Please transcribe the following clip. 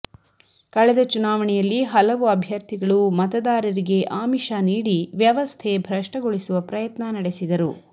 ಕಳೆದ ಚುನಾವಣೆಯಲ್ಲಿ ಹಲವು ಅಭ್ಯರ್ಥಿಗಳು ಮತದಾರರಿಗೆ ಆಮಿಷ ನೀಡಿ ವ್ಯವಸ್ಥೆ ಭ್ರಷ್ಟಗೊಳಿಸುವ ಪ್ರಯತ್ನ ನಡೆಸಿದರು